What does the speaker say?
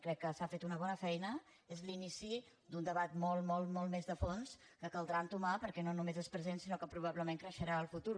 crec que s’ha fet una bona feina és l’inici d’un debat molt molt molt més de fons que caldrà entomar perquè no només és present sinó que probablement creixerà en el futur